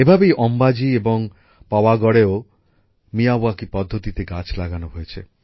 এভাবেই অম্বাজি এবং পাওয়াগড়এও মিয়াওয়াকি পদ্ধতিতে গাছ লাগানো হয়েছে